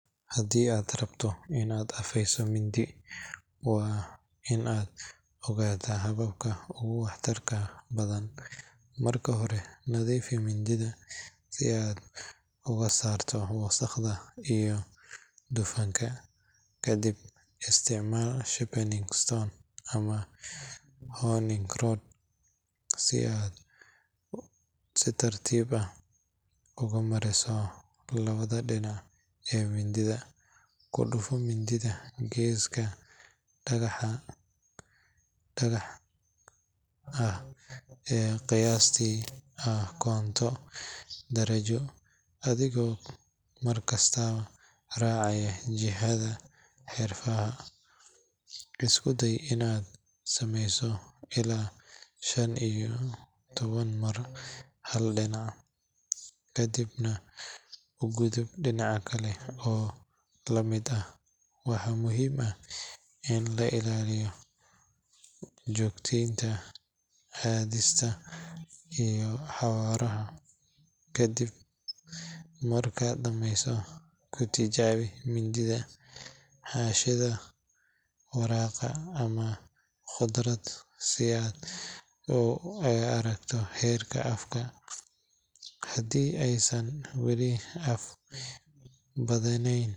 Haddii aad rabto in aad afeyso mindi, waa muhiim in aad ogaato hababka ugu waxtarka badan. Marka hore, nadiifi mindida si aad uga saarto wasakhda iyo dufanka. Kadibna, isticmaali sharpening stone ama honing rod si aad si tartiib ah ugu mariso labada dhinac ee mindida. Ku dhufo mindida geeska dhagaxa xagal ah oo qiyaastii ah konton darajo, adigoo mar kasta raacaya jihada xarfaha. Isku day in aad sameyso ilaa shan iyo toban mar hal dhinac, kadibna u gudub dhinaca kale oo la mid ah. Waxaa muhiim ah in la ilaaliyo joogtaynta cadaadiska iyo xawaaraha. Kadib markaad dhameyso, ku tijaabi mindida xaashida warqadda ama khudrad si aad u aragto heerka afka. Haddii aysan weli af badnayn.